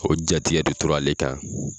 O jatigɛ de tora ale kan.